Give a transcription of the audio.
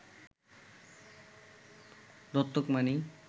দত্তক মানেই